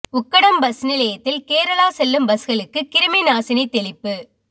Ukkadam bus நிலையத்தில் கேரளா செல்லும் பஸ்களுக்கு கிருமி நாசினி தெளிப்பு